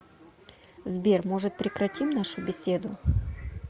сбер может прекратим нашу беседу